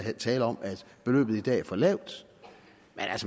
er tale om at beløbet i dag er for lavt